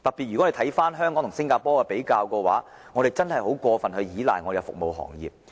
若將香港與新加坡比較，我們會發現香港真的過於倚賴服務行業。